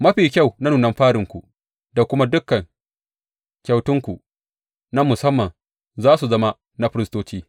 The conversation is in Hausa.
Mafi kyau na nunan farinku da kuma dukan kyautanku na musamman za su zama na firistoci.